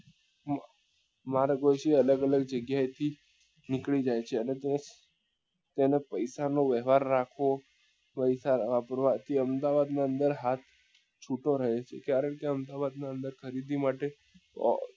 માણસો અહી થી અલગ અલગ જગ્યા એ થી નીકળી જાય છે અને તેનો પૈસા નો વહેવાર રાખવો પૈસા વાપરવા કે અમદાવાદ ની અંદર હાથ છૂટો રહે છે કરણ કે અમદાવાદ ના અંદર ખરીદી માટે